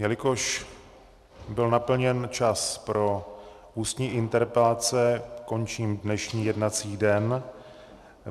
Jelikož byl naplněn čas pro ústní interpelace, končím dnešní jednací den.